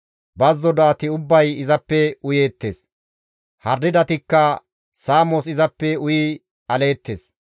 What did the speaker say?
Bazzo do7ati ubbay izappe uyeettes; harididatikka saamos izappe uyi aleettes.